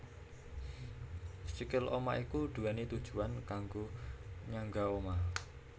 Sikil omah iku duwéni tujuwan kanggo nyangga omah